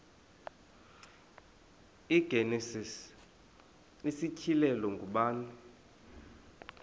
igenesis isityhilelo ngubani